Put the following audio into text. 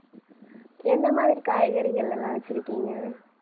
என்ன மாதிரி காய்கறிகள் எல்லாம் வச்சிருக்கீங்க